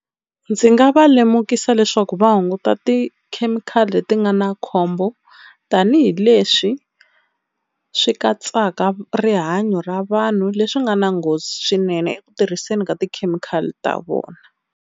Ndzi nga va lemukisa leswaku va hunguta tikhemikhali leti nga na khombo tanihileswi swi katsaka rihanyo ra vanhu, leswi nga na nghozi swinene eku tirhiseni ka tikhemikhali ta vona.